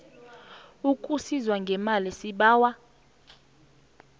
ukusizwa ngemali sibawa